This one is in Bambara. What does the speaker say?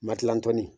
Makilantɔni